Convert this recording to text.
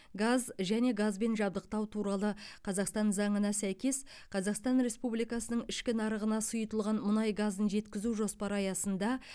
газ және газбен жабдықтау туралы қазақстан заңына сәйкес қазақстан республикасының ішкі нарығына сұйытылған мұнай газын жеткізу жоспары аясында